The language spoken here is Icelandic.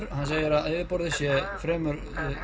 og hann segir að yfirborðið sé fremur